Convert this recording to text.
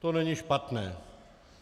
To není špatné.